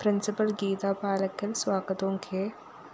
principal‍ Geetha Palakkal‍ സ്വാഗതവും K